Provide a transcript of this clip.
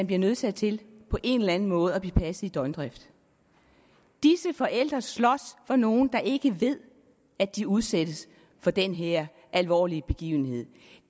bliver nødsaget til på en eller anden måde at blive passet i døgndrift disse forældre slås for nogle der ikke ved at de udsættes for den her alvorlige begivenhed